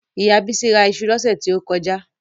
Ìyá Bísí ra iṣu lọ́sẹ̀ tí ó kọjá